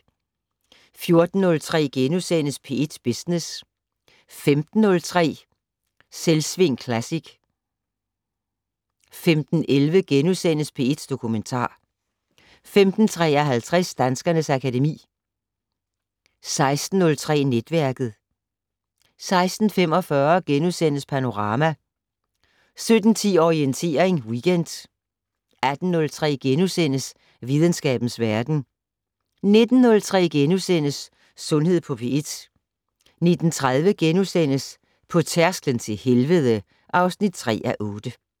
14:03: P1 Business * 15:03: Selvsving Classic 15:11: P1 Dokumentar * 15:53: Danskernes akademi 16:03: Netværket 16:45: Panorama * 17:10: Orientering Weekend 18:03: Videnskabens Verden * 19:03: Sundhed på P1 * 19:30: På tærsklen til helvede (3:8)*